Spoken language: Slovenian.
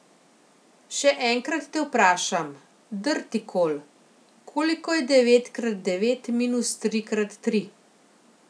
Še enkrat te vprašam, Drtikol, koliko je devet krat devet minus tri krat tri?